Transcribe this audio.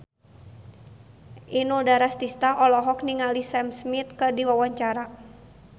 Inul Daratista olohok ningali Sam Smith keur diwawancara